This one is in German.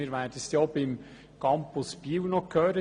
Wir werden das auch beim Campus Biel noch hören.